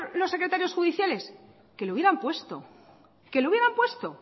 los secretarios judiciales que lo hubieran puesto que lo hubieran puesto